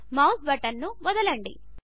mouse బటన్ను వదలండి